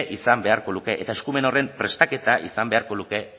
izan beharko luke eta eskumen horren prestaketa izan beharko luke